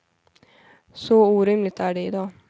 Så orimligt är det i dag.